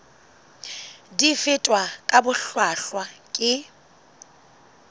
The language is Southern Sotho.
di fetwa ka bohlwahlwa ke